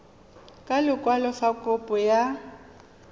ka lekwalo fa kopo ya